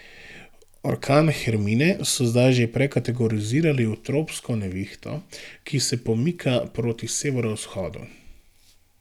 Orkan Hermine so zdaj že prekategorizirali v tropsko nevihto, ki se pomika proti severovzhodu.